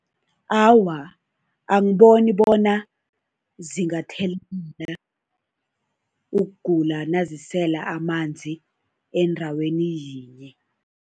Awa, angiboni bona zingathelelana ukugula nazisela amanzi endaweni yinye.